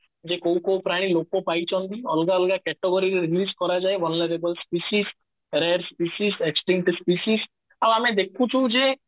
ଯେ କୋଉ କୋଉ ପ୍ରାଣୀ ଲୋପ ପାଇଛନ୍ତି ଅଲଗା ଲଗା category ରେ release କରାଯାଏ honorable species rare species ଆଉ ଆମେ ଦେଖୁଚୁ ଯେ